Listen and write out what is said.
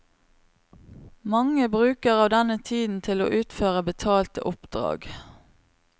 Mange bruker av denne tiden til å utføre betalte oppdrag.